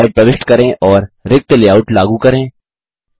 नयी स्लाइड प्रविष्ट करें और रिक्त लेआउट लागू करें